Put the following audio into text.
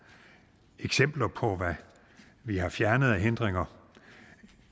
eksempler på hvad vi har fjernet af hindringer